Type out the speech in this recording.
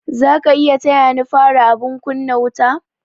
Zaka iya taya ni fara abun kunna wuta?